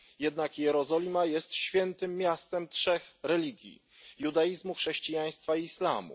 Jednak Jerozolima jest świętym miastem trzech religii judaizmu, chrześcijaństwa i islamu.